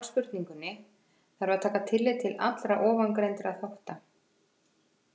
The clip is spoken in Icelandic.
Til þess að svara spurningunni þarf að taka tillit til allra ofangreindra þátta.